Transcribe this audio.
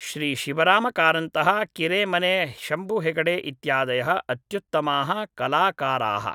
श्री शिवरामकारन्तः किरेमने शम्भु हेगडे इत्यादयः अत्युत्तमाः कलाकाराः